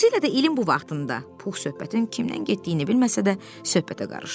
Xüsusilə də ilin bu vaxtında Pux söhbətin kimdən getdiyini bilməsə də, söhbətə qarışdı.